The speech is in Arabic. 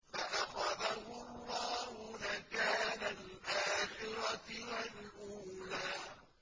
فَأَخَذَهُ اللَّهُ نَكَالَ الْآخِرَةِ وَالْأُولَىٰ